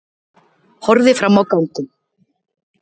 Horfði fram á ganginn.